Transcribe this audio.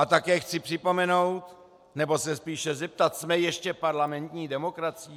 A také chci připomenout, nebo se spíše zeptat - jsme ještě parlamentní demokracií?